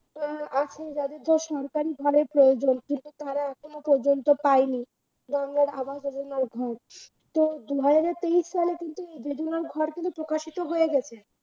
অ্যাঁ আচ্ছা যাদের ধর সরকারি ঘরের প্রয়োজন কিন্তু তারা এখনো পর্যন্ত পায়নি গঙ্গার আবাস যোজনার ঘর, তো দুহাজার তেইশ সালে কিন্তু এই যোজনার ঘরগুলো প্রকাশিত হয়ে গেছে